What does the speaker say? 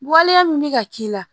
Waleya min bɛ ka k'i la